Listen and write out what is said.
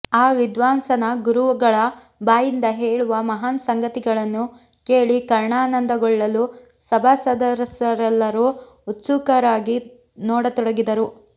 ಆ ವಿದ್ವಾಂಸನ ಗುರುಗಳ ಬಾಯಿಂದ ಹೇಳುವ ಮಹಾನ್ ಸಂಗತಿಗಳನ್ನು ಕೇಳಿ ಕರ್ಣಾನಂದಗೊಳ್ಳಲು ಸಭಾಸದರೆಲ್ಲರೂ ಉತ್ಸುಕರಾಗಿ ನೋಡತೊಡಗಿದರು